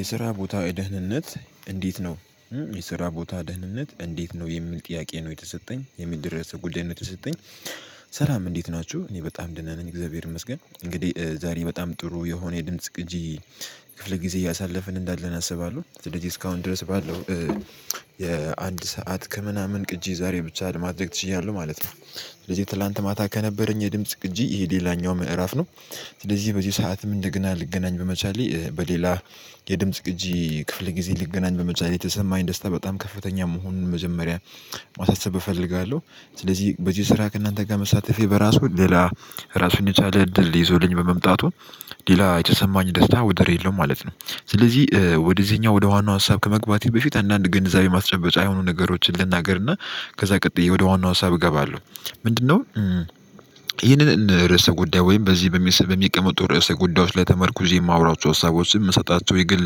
የስራ ቦታ የደህንነት እንዴት ነው? የስራ ቦታ ደህንነት እንዴት ነው የሚል ጥያቄ ነው የተሰጠኝ የሚል ድረስ ጉዳይ ነው የተሰጠኝ። ስራም እንዴት ናችሁ? እኔ በጣም ደና ነኝ እግዚአብሔር ይመስገን እንግዲህ ዛሬ በጣም ጥሩ የሆነ የድምጽ ቅጂ። ክፍለ ጊዜ እያሳለፍን እንዳለን አስባለሁ ስለዚህ እስካሁን ድረስ ባለው የአንድ ሰዓት ከምናምን ቅጂ ዛሬ ብቻ ለማድረግ ችያለሁ ማለት ነው። ስለዚህ ትላንት ማታ ከነበረኝ የድምጽ ቅጂ ይሄ ሌላኛው ምዕራፍ ነው። ስለዚህ በዚህ ሰዓትም እንደገና ልገናኝ በመቻሌ በሌላ የድምጽ ቅጂ ክፍለ ጊዜ ልገናኝ በመቻሌ ላይ የተሰማኝ ደስታ በጣም ከፍተኛ መሆኑን መጀመሪያ ማሳሰብ እፈልጋለሁ። ስለዚህ በዚህ ስራ ከእናንተ ጋር መሳተፌ በራሱ ሌላ እራሱን የቻለ እድል ይዞልኝ በመምጣቱ ሌላ የተሰማኝ ደስታ ወደር የለውም ማለት ነው። ስለዚህ ወደዚህኛው ወደ ዋናው ሀሳብ ከመግባቴ በፊት አንዳንድ ግንዛቤ ማስጨበጫ የሆኑ ነገሮችን ልናገርና ከዛ ቀጥዬ ወደ ዋናው ሀሳብ እገባለሁ። ምንድነው? ይህንን ርዕሰ ጉዳይ ወይም በዚህ በሚቀመጡ የርዕሰ ጉዳዮች ላይ ተመርኩዤ የማውራቸው ሀሳቦችን የምሰጣቸው የግል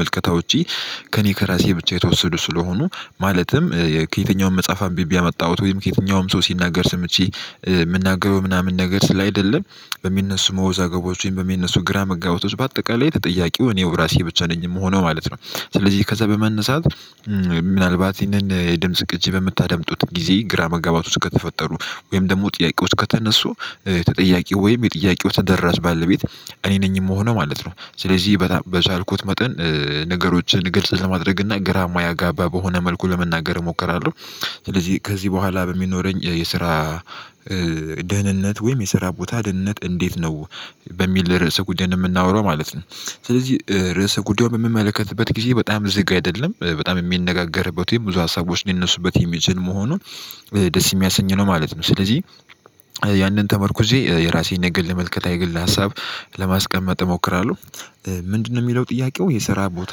ማልከታዎቼ። ከእኔ ከራሴ ብቻ የተወሰዱ ስለሆኑ ማለትም ከየትኛውም መጽሐፍ አንብቤ ያመጣሁት ወይም ከየትኛውም ሰው ሲናገር ስምቼ ምናገረው ምናምን ነገር ስላይደለ። በሚነሱ መውዛገቦችን በሚነሱ ግራ መጋባቶች በአጠቃላይ ተጠያቂው እኔው ራሴ ብቻ ነኝ የምሆነው ማለት ነው። ስለዚህ ከዛ በመነሳት። ምናልባት ይሄንን የድምጽ ቅጂ በምታደምጡት ጊዜ ግራ መጋባት ውስጥ ከተፈጠሩ ወይም ደግሞ ጥያቄ ውስጥ ከተነሱ። ጥያቄው ወይም የጥያቄው ተደራሽ ባለቤት እኔ ነኝ የምሆነው ማለት ነው። ስለዚህ በቻልኩት መጠን ነገሮችን ግልጽ ለማድረግ እና ግራ ማያጋባ በሆነ መልኩ ለመናገር እሞክራለሁ። ስለዚህ ከዚህ በኋላ በሚኖረኝ የስራ ደህንነት ወይም የስራ ቦታ ደህንነት እንዴት ነው? በሚል ርዕሰ ጉዳይ የምናወራው ማለት ነው። ስለዚህ ርዕሰ ጉዳዩን በምመለከትበት ጊዜ በጣም ዝግ አይደለም በጣም የሚነጋገርበት ወይም ብዙ ሀሳቦች ሊነሱበት የሚችል መሆኑን ደስ የሚያሰኝ ነው ማለት ነው ስለዚህ። ያንን ተመርኩዤ የራሴን ነገር ለመልከታ የግል ሀሳብ ለማስቀመጥ እሞክራለሁ። ምንድነው? የሚለው ጥያቄው የስራ ቦታ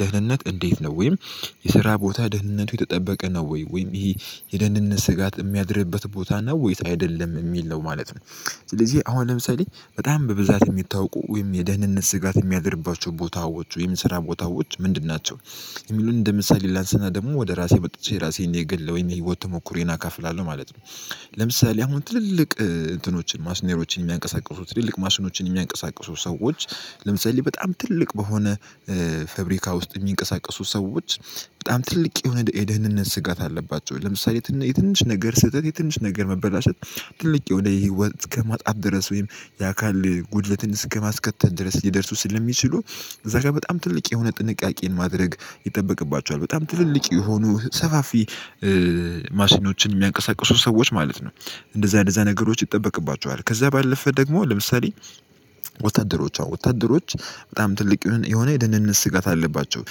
ደህንነት እንዴት ነው ወይም የስራ ቦታ ደህንነቱ የተጠበቀ ነው ወይ ወይም ይሄ የደህንነት ስጋት የሚያድርበት ቦታ ነው ወይስ አይደለም እሚል ነው ማለት ነው። ስለዚህ አሁን ለምሳሌ በጣም በብዛት የሚታወቁ ወይም የደህንነት ስጋት የሚያድርባቸው ቦታዎች ወይም ስራ ቦታዎች ምንድን ናቸው? የሚሉን እንደ ምሳሌ ላንስና ደግሞ ወደ ራሴ መጥቼ ራሴን የግለ ወይም የህይወት ተሞክሮዬን አካፍላለሁ ማለት ነው። ለምሳሌ አሁን ትልልቅ እንትኖችን ማስሽነሮችን የሚያንቀሳቅሱት ትልልቅ ማስኖችን የሚያንቀሳቅሱ ሰዎች ለምሳሌ በጣም ትልቅ በሆነ ፋብሪካ ውስጥ የሚንቀሳቀሱ ሰዎች በጣም ትልቅ የሆነ የደህንነት ስጋት አለባቸው። ለምሳሌ የትንሽ ነገር ስህተት የትንሽ ነገር መበላሸት ትልቅ የሆነ የህይወት ከማጣት ድረስ ወይም የአካል ጉድለትን እስከማስከተል ድረስ ሊደርሱ ስለሚችሉ እዛ ጋር በጣም ትልቅ የሆነ ጥንቃቄን ማድረግ ይጠበቅባቸዋል። በጣም ትልልቅ የሆኑ ሰፋፊ ማሽኖችን የሚያንቀሳቅሱ ሰዎች ማለት ነው። እንደዛ እንደዛ ነገሮች ይጠበቅባቸዋል ከዛ ባለፈ ደግሞ ለምሳሌ ወታደሮቿ ወታደሮች በጣም ትልቅ የሆነ የደንነት ስጋት አለባቸው።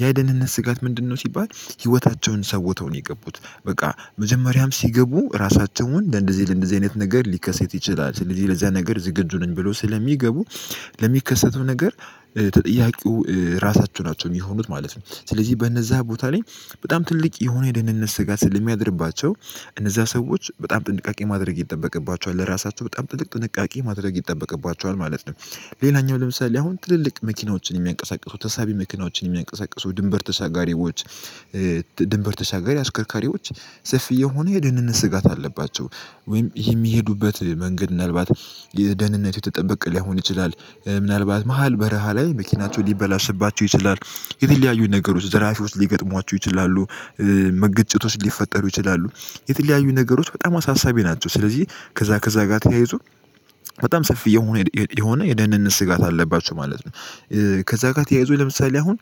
ያ የደህንነት ስጋት ምንድነው ሲባል ህይወታቸውን ሰውተው ነው የገቡት በቃ መጀመሪያም ሲገቡ ራሳቸውን ለእንደዚህ ለእንደዚህ አይነት ነገር ሊከሰት ይችላል ስለዚህ ለዚያ ነገር ዝግጁ ነኝ ብለው ስለሚገቡ ለሚከሰተው ነገር ተጠያቂው ራሳቸው ናቸው የሚሆኑት ማለት ነው። ስለዚህ በእነዛ ቦታ ላይ በጣም ትልቅ የሆነ የደህንነት ስጋት ስለሚያድርባቸው እነዛ ሰዎች በጣም ጥንቃቄ ማድረግ ይጠበቅባቸዋል ለራሳቸው በጣም ትልቅ ጥንቃቄ ማድረግ ይጠበቅባቸዋል ማለት ነው። ሌላኛው ለምሳሌ አሁን ትልልቅ መኪናዎችን የሚያንቀሳቅሱ ተሳቢ መኪናዎችን የሚያንቀሳቅሱ ድንበር ተሻጋሪዎች ድንበር ተሻጋሪ አሽከርካሪዎች ሰፊ የሆኑ የደህንነት ስጋት አለባቸው ወይም ይሄ የሚሄዱበት መንገድ ምናልባት የደህንነቱ የተጠበቀ ላይሆን ይችላል። ምናልባት መሃል በረሃ ላይ መኪናቸው ሊበላሽባቸው ይችላል። የተለያዩ ነገሮች ዘራፊዎች ሊገጥሟቸው ይችላሉ። መገጨቶች ሊፈጠሩ ይችላሉ። የተለያዩ ነገሮች በጣም አሳሳቢ ናቸው። ስለዚህ ከዛ ከዛ ጋር ተያይዞ በጣም ሰፊ የሆነ የሆነ የደህንነት ስጋት አለባቸው ማለት ነው። ከዛ ጋር ተያይዞኝ ለምሳሌ አሁን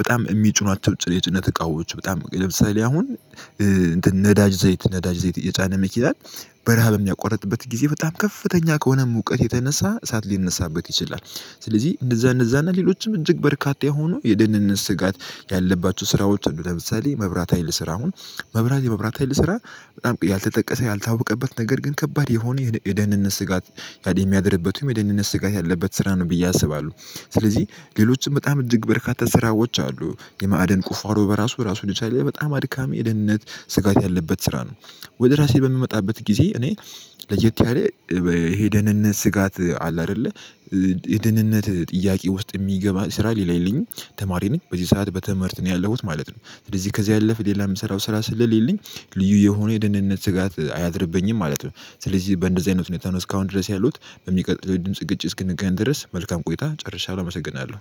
በጣም እሚጭኗቸው የጭነት እቃዎች በጣም ለምሳሌ አሁን ነዳጅ ዘይት ነዳጅ ዘይት የጫነ መኪናን በረሃ በሚያቆርጥበት ጊዜ በጣም ከፍተኛ ከሆነ ሙቀት የተነሳ እሳት ሊነሳበት ይችላል። ስለዚህ እንደዛ እንደዛ እና ሌሎችም እጅግ በርካታ የሆኑ የደህንነት ስጋት ያለባቸው ስራዎች እንደው ለምሳሌ መብራት ሀይል ስራ አሁን መብራት የመብራት ሀይል ስራ በጣም ያልተጠቀሰ ያልታወቀበት ነገር ግን ከባድ የሆነ የደህንነት ስጋት ያድርበትም የደህንነት ስጋት ያለበት ስራ ነው ብዬ አስባለሁ። ስለዚህ ሌሎችም በጣም እጅግ በርካታ ስራዎች አሉ የማዕድን ቁፋሮ በራሱ ራሱን የቻለ በጣም አድካሚ የደህንነት ስጋት ያለበት ስራ ነው። ወደ ራሴ በምመጣበት ጊዜ እኔ ለየት ያለ የደንህነት ስጋት አለ አይደለ? የደህንነት ጥያቄ ውስጥ የሚገባ ስራ ሌላ የለኝም። ተማሪ ነኝ በዚህ ሰዓት በትምህርት ነው ያለሁት ማለት ነው። ስለዚህ ከዚያ ያለፍ ሌላ የምሰራው ስራ ስለሌለኝ ልዩ የሆነ የደህነነት ስጋት አያድርብኝም ማለት ነው። ስለዚህ በእንደዚህ አይነት ሁኔታ ነው እስካሁን ድረስ ያለውት በሚቀጥለው ድምጽ ግጭት እስክንገናኝ ድረስ መልካም ቆይታ ጨርሻለሁ አመሰግናለሁ